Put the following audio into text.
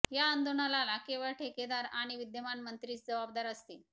या आंदोलनाला केवळ ठेकेदार आणि विद्यमान मंत्रीच जबाबदार असतील